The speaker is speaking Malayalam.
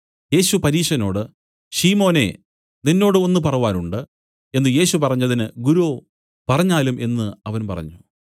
യേശു പരീശനോട് ശിമോനേ നിന്നോട് ഒന്ന് പറവാനുണ്ട് എന്നു യേശു പറഞ്ഞതിന് ഗുരോ പറഞ്ഞാലും എന്നു അവൻ പറഞ്ഞു